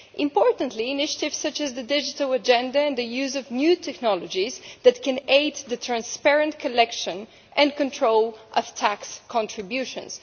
Importantly, initiatives such as the digital agenda and the use of new technologies can aid the transparent collection and control of tax contributions.